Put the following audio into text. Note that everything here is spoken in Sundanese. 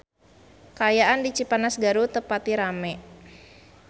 Kaayaan di Cipanas Garut teu pati rame